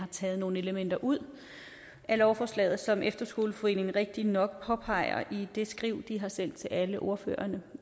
taget nogle elementer ud af lovforslaget som efterskoleforeningen rigtigt nok påpeger i det skriv de har sendt til alle ordførerne